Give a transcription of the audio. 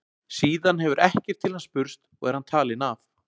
Síðan hefur ekkert til hans spurst og er hann talinn af.